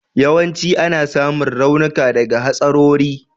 Yawanci ana samun raunuka daga hatsarori.